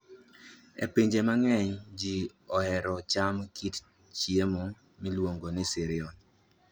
E pinje mang'eny, ji ohero chamo kit chiemo miluongo ni cereal.